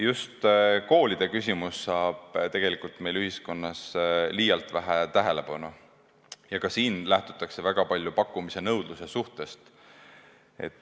Just koolide küsimus saab meie ühiskonnas liialt vähe tähelepanu ja ka siin lähtutakse väga palju pakkumise ja nõudluse suhtest.